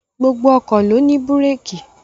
Gbogbo ọkọ̀ ló ní búrékì